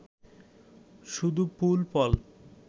শুধু ফুল ফল!